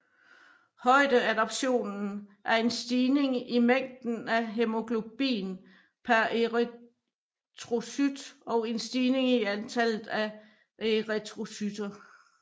Højdeadaptation er en stigning i mængden af hæmoglobin per erythrocyt og en stigning i antallet af erythrocytter